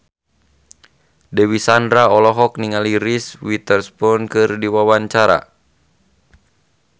Dewi Sandra olohok ningali Reese Witherspoon keur diwawancara